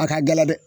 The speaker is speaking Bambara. A ka gɛlɛn dɛ